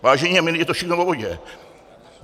Vážení a milí, je to všechno o vodě.